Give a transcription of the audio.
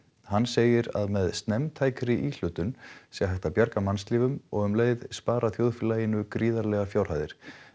hann segir að með snemmtækri íhlutun sé hægt að bjarga mannslífum og um leið spara þjóðfélaginu gríðarlegar fjárhæðir